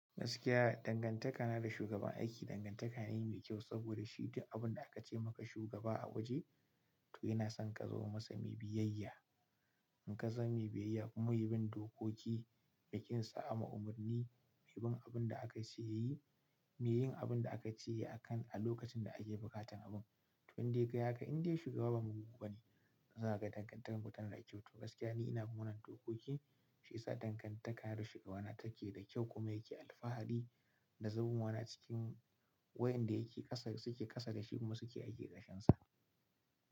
Gaskiya dangantaka na da shugaban aiki dangantaka ne mai kyau saboda shi duk abun da aka ce maka shugaba a waje to yana son ka zama masa mai biyayya. In ka zama mai biyayya kuma mai bin dokoki da ƙin saɓama umarni, mai bin abin da aka ce ya yi, mai yin abin da aka ce ya yi a kan a lokacin da aka yi buƙatar abun. To in dai kai yaka indai shugaba ba mugu ba ne, za ka ga dangantakarku tana da kyau. To gaskiya ni ina bin wannan dokoki shi ya sa dangantaka na da shugabana take da kyau kuma yake alfahari da zamowa na a cikin waƴanda yake ƙasa suke ƙasa da shi kuma suke aiki ƙarƙashin sa.